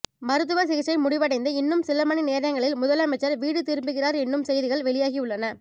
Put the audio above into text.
மருத்துவ சிகிச்சை முடிவடைந்து இன்னும் சில மணி நேரங்களில் முதலமைச்சர் வீடு திரும்புகிறார் என்றும் செய்திகள் வெளியாகியுள்ளன